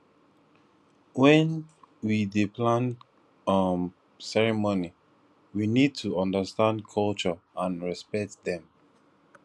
when we dey plan um ceremony we need to undertand culture and repect dem